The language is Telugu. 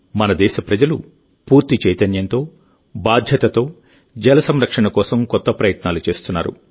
మన దేశప్రజలు పూర్తి చైతన్యంతో బాధ్యతతో జల సంరక్షణ కోసం కొత్త ప్రయత్నాలు చేస్తున్నారు